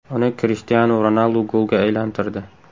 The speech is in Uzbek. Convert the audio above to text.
Uni Krishtianu Ronaldu golga aylantirdi.